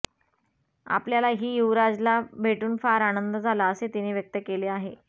आपल्याला ही युवराजला भेटून फार आनंद झाला असे तिने व्यक्त केले आहे